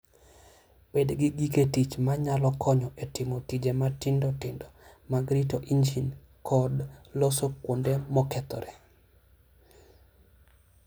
Bed gi gige tich ma nyalo konyo e timo tije matindo tindo mag rito injin kod loso kuonde mokethore.